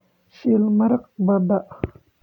shiil maraq badda